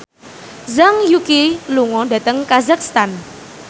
Zhang Yuqi lunga dhateng kazakhstan